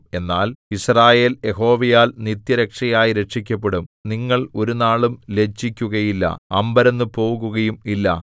എന്നാൽ യിസ്രായേൽ യഹോവയാൽ നിത്യരക്ഷയായി രക്ഷിക്കപ്പെടും നിങ്ങൾ ഒരുനാളും ലജ്ജിക്കുകയില്ല അമ്പരന്നുപോകുകയും ഇല്ല